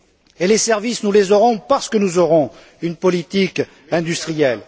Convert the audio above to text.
Et les services, nous les aurons parce que nous aurons une politique industrielle.